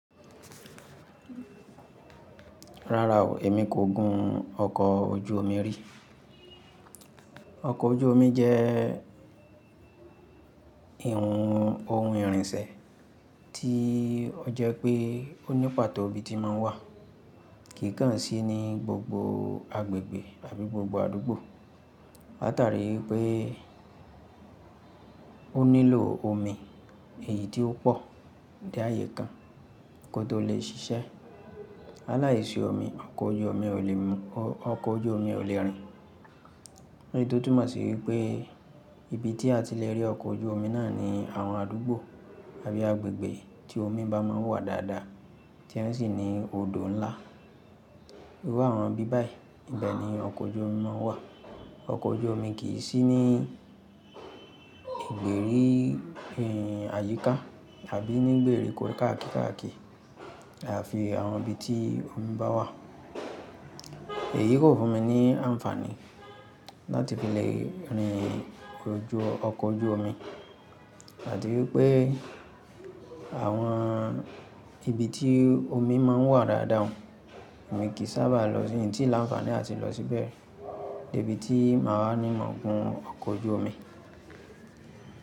Rárá o, èmi kò gun ọkọ̀ ojú omi rí. Ọkọ̀ ojú omi jẹ́ ìhun ohun ìrìnsẹ̀ tí ó jẹ́ pé ó ní pàtó ibi tí n máa ń wà kìi kàn sí ní gbogbo agbègbè àbí gbogbo àdúgbò. Láta rí wipé ó nílò omi èyí tí ó pọ̀ dé ààyè kan kó tó lè ṣiṣẹ́. La láìsí omi, ọkọ̀ ojú omi ò lè rìn. Leyí tó túmọ̀ sí wípé ibi tí a ti lè rí ọkọ̀ ojú omi náà ni àwọn àdúgbò àbí agbègbè tí omi bá máa ń wà dáadáa tí wọ́n sì ní odò ńlá. Irú àwọn ibi báyìí ibẹ̀ ni ọkọ̀ ojú omi máa ń wà. Ọkọ̀ ojú omi kì í sí ní ìgbèrí hmm àyíká àbí ní gbèrí kó káàkiri káàkiri àfi àwọn ibi tí omi bá wà. Èyí kò fún mi ní àǹfààní láti fi lè rìn ọkọ̀ ojú omi. Ati wípé àwọn ibi tí omi máa ń wà dáadáa oun, emi kì í sábà lọsi, intí la àǹfààní ati lọ síbẹ̀. De bi tí màá wa ní mon gun ọkọ̀ ojú omi.